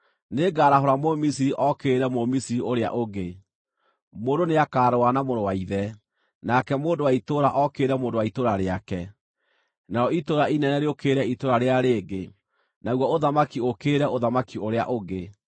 “Nĩngarahũra Mũmisiri ookĩrĩre Mũmisiri ũrĩa ũngĩ: mũndũ nĩakarũa na mũrũ wa ithe, nake mũndũ wa itũũra ookĩrĩre mũndũ wa itũũra rĩake, narĩo itũũra inene rĩũkĩrĩre itũũra rĩrĩa rĩngĩ, naguo ũthamaki ũũkĩrĩre ũthamaki ũrĩa ũngĩ.